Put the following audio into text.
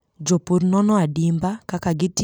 Jopur nono adimba kaka gitiyo gi pi e pidho cham.